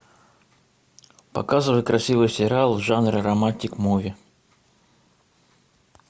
показывай красивый сериал в жанре романтик муви